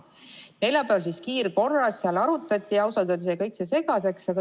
Neljapäeval neid kiirkorras arutatigi, aga ausalt öeldes jäi kõik see segaseks.